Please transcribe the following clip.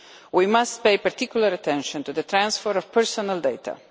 We must pay particular attention to the transfer of personal data.